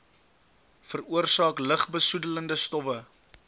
veroorsaak lugbesoedelende stowwe